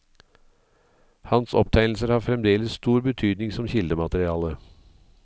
Hans opptegnelser har fremdeles stor betydning som kildemateriale.